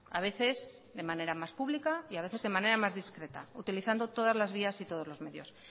a veces de manera más pública y a veces de manera más discreta utilizando todas las vías y todos lo medios